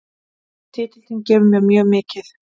Titillinn gefur mér mjög mikið